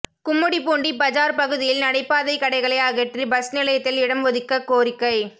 கும்மிடிப்பூண்டி பஜார் பகுதியில் நடைபாதை கடைகளை அகற்றி பஸ் நிலையத்தில் இடம் ஒதுக்க கோரிக்கை